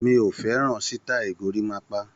Mi ò fẹ́ràn sítáì gorímápá.